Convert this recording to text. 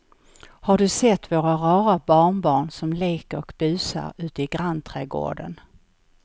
Har du sett våra rara barnbarn som leker och busar ute i grannträdgården!